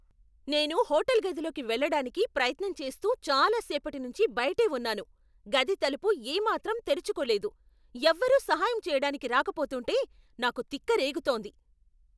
నేను హోటల్ గదిలోకి వెళ్ళడానికి ప్రయత్నం చేస్తూ చాలా సేపటినుంచి బయటే ఉన్నాను, గది తలుపు ఏమాత్రం తెరుచుకోలేదు. ఎవ్వరు సహాయం చెయ్యడానికి రాకపోతుంటే నాకు తిక్క రేగుతోంది.